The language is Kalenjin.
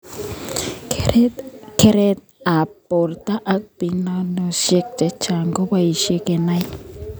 Keret ab borto ak pimanoshek chechang keboishe kenai.